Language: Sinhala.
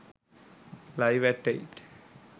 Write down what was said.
live@8